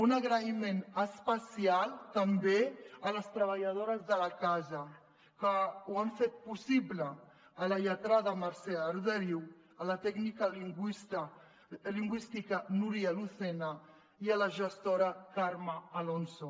un agraïment especial també a les treballadores de la casa que ho han fet possible a la lletrada mercè arderiu a la tècnica lingüística núria lucena i a la gestora carme alonso